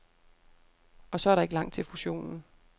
Og så er der ikke langt til fusionen.